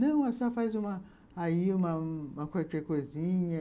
Não, aí você faz uma aí qualquer coisinha.